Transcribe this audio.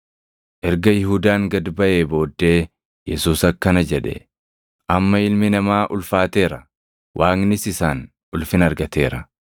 Erga Yihuudaan gad baʼee booddee Yesuus akkana jedhe; “Amma Ilmi Namaa ulfaateera; Waaqnis isaan ulfina argateera.